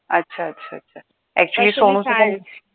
अच्छा, अच्छा, अच्छा actually सोनूचं पण